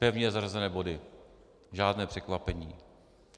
Pevně zařazené body, žádné překvapení.